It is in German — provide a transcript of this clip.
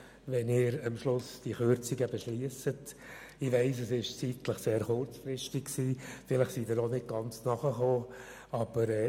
Ich weiss, dass mein Antrag sehr kurzfristig eingereicht wurde und Sie ihn vielleicht auch nicht ganz verstanden haben.